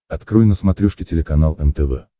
открой на смотрешке телеканал нтв